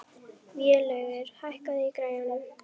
Vélaugur, hækkaðu í græjunum.